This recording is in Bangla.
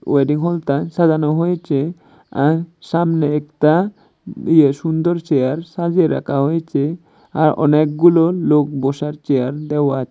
ওয়েডিং হলতা সাজানো হয়েচে আর সামনে একতা ইয়ে সুন্দর চেয়ার সাজিয়ে রাখা হয়েচে আর অনেকগুলো লোক বসার চেয়ার দেওয়া আছে।